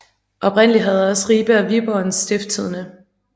Oprindeligt havde også Ribe og Viborg en Stiftstidende